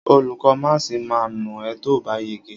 Olùkó máàsì ma nà ẹ́ tóòbá yege.